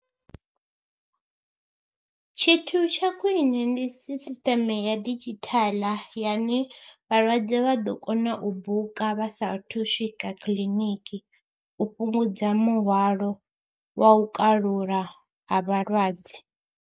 Tshithu tsha khwine ndi sisiṱeme ya didzhithala yane vhalwadze vha ḓo kona u buka vha saathu swika kiḽiniki u fhungudza muhwalo wa u kalula ha vhalwadze.